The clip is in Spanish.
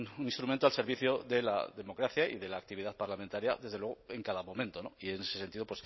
un instrumento al servicio de la democracia y de la actividad parlamentaria desde luego en cada momento y en ese sentido